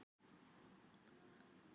Aðlis, hver er dagsetningin í dag?